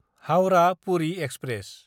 हाउरा–पुरि express